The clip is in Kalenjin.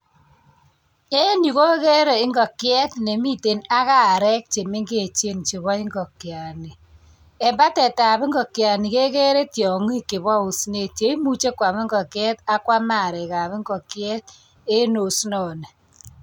Eng yu agere ingokiet nemiten ak arek che mengechen che bo ingokiani eng batetab ingokiani kekere tiongik che bo osinet che imuche kwam ingokiet anan kwam arekab ingokiet eng osinoni.